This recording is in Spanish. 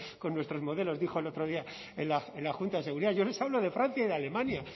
con nuestros modelos dijo el otro día en la junta de seguridad yo les hablo de francia y de alemania